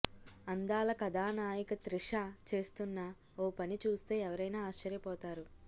అందాల కథానాయిక త్రిష చేస్తున్న ఓ పని చూస్తే ఎవరైనా ఆశ్చర్యపోతారు